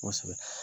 Kosɛbɛ